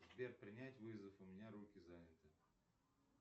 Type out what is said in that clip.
сбер принять вызов у меня руки заняты